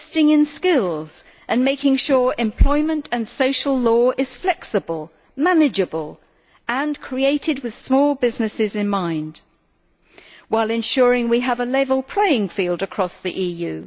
investing in skills and making sure employment and social law is flexible, manageable and created with small businesses in mind, while ensuring a level playing field across the EU.